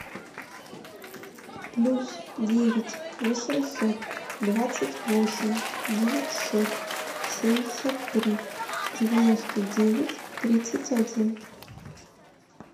плюс девять восемьсот двадцать восемь девятьсот семьдесят три девяносто девять тридцать один